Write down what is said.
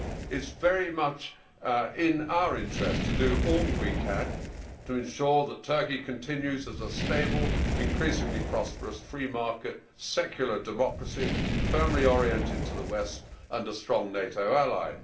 It is very much in our interest to do all we can to ensure that Turkey continues as a stable, increasingly prosperous, free market secular democracy, firmly oriented to the West, and a strong NATO ally.